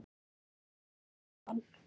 Bara mjög gaman.